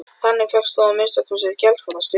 Þannig fékkst þó að minnsta kosti gjaldfrestur.